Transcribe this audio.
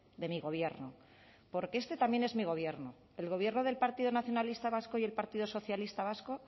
de mi gobierno porque este también es mi gobierno el gobierno del partido nacionalista vasco y el partido socialista vasco